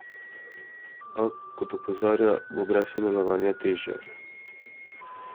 A, kot opozarja, bo brez sodelovanja težje.